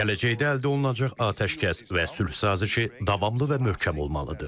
Gələcəkdə əldə olunacaq atəşkəs və sülh sazişi davamlı və möhkəm olmalıdır.